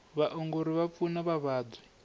vaongori va pfuna vavabyi